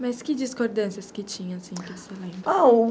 Mas que discordâncias que tinha assim que você lembra? ah...